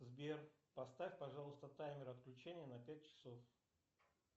сбер поставь пожалуйста таймер отключения на пять часов